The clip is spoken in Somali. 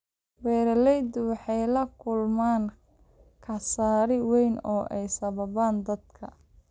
Beeraleydu waxay la kulmaan khasaare weyn oo ay sababaan daadadka.